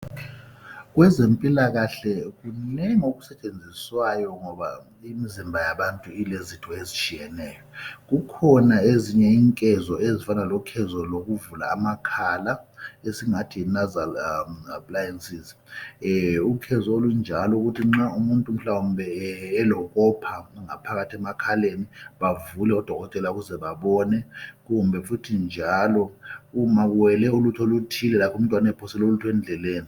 Kwezempilakahle kunengi okusetshenziswayo ngoba imzimba yabantu ilezitho ezitshiyeneyo kukhona ezinye inkezo ezifana lokhezo lukuvula amakhala esingathi yi "nasal appliances"ukhezo olunjalo ukuthi nxa umuntu mhlawumbe elokopha ngaphakathi emakhaleni bavule oDokotela ukuze babone kumbe futhi njalo umakuwele ulutho oluthile lakho umntwana ephosele ulutho endlebeni